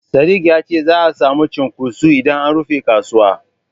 Sadik ya ce za'a samu cunkoso idan an rufe kasuwa.